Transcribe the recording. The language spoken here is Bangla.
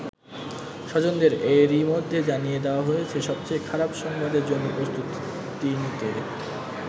স্বজনদের এরই মধ্যে জানিয়ে দেয়া হয়েছে সবচেয়ে খারাপ সংবাদের জন্য প্রস্তুতি নিতে।